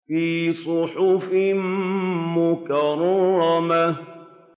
فِي صُحُفٍ مُّكَرَّمَةٍ